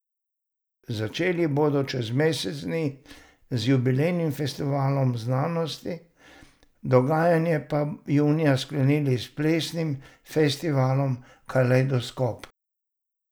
Začeli bodo čez mesec dni z jubilejnim festivalom znanosti, dogajanje pa junija sklenili s plesnim festivalom Kalejdoskop.